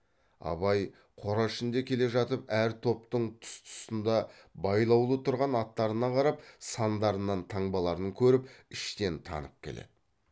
абай қора ішінде келе жатып әр топтың тұс тұсында байлаулы тұрған аттарына қарап сандарынан таңбаларын көріп іштен танып келеді